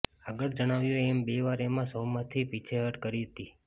આગળ જણાવ્યું એમ બેવાર મેં આ શોમાંથી પીછેહઠ કરી હતી